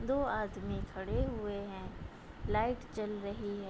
दो आदमी खड़े हुए हैं लाइट जल रही है |